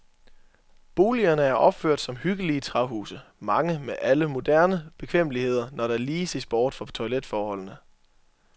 Boligerne er opført som hyggelige træhuse, mange med alle moderne bekvemmeligheder, når der lige ses bort fra toiletforholdene.